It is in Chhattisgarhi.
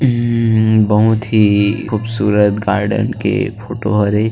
ऊं बहुत ही खूबसूरत गार्डन के फोटो हरे।